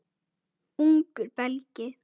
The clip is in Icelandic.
Ungur Belgi.